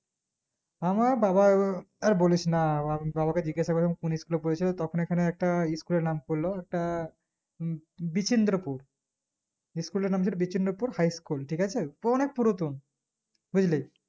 আমার বাবা ও আর বলিস না আবাবাকে জিজ্ঞাসা করলাম কোন school এ পড়েছো তখন এখানে একটা school এর নাম করলো তা ই বিচিন্দ্রপুর school এর নাম ছিল বিচিন্দ্রপুর high school ঠিক আছে তো অনিক পুরাতন বুজলি